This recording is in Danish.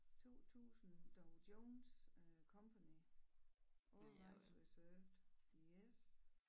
2000 Dow Jones Company all rights reserved yes